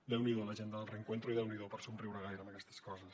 déu n’hi do la gent del reencuentro i déu n’hi do per somriure gaire amb aquestes coses